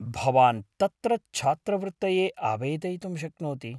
भवान् तत्र छात्रवृत्तये आवेदयितुं शक्नोति।